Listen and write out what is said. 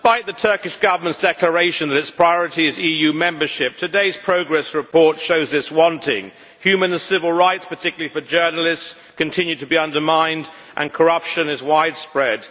Madam President, despite the Turkish Government's declaration that its priority is EU membership, today's progress report shows this wanting. Humanist civil rights, particularly for journalists, continue to be undermined and corruption is widespread.